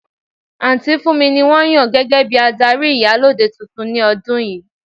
Aunty Funmi ni won yan gege bi adari Iyalode tuntun ni odun yii.